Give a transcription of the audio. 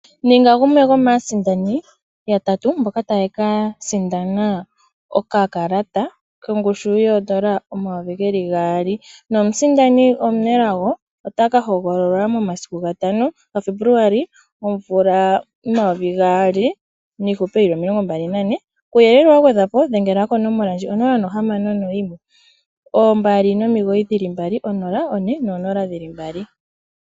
Ninga gumwe gomaasindani yatatu mboka taya kasinda okakalata kongushu yoN$2000 nomusindani omunelago otakahogololwa momasiku 5 Januali 2024, kuuyele wagwedhwapo dhengela konomola ndji: 0612990400.